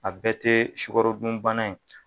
A bɛɛ tɛ sukarodun bana ye.